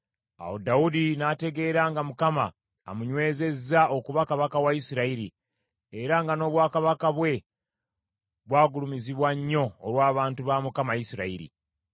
Awo Dawudi n’ategeera nga Mukama amunywezezza okuba kabaka wa Isirayiri, era nga n’obwakabaka bwe bwagulumizibwa nnyo olw’abantu ba Mukama Isirayiri.